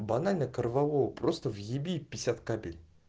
банально корвалол просто въеби пятьдесят кабель